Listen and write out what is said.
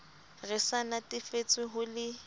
re sa natefetswe ho le